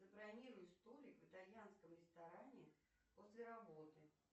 забронируй столик в итальянском ресторане после работы